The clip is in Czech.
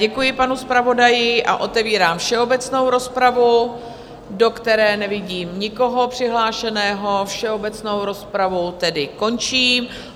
Děkuji panu zpravodaji a otevírám všeobecnou rozpravu, do které nevidím nikoho přihlášeného, všeobecnou rozpravu tedy končím.